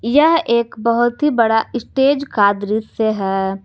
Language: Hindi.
यह एक बहुत ही बड़ा स्टेज का दृश्य है।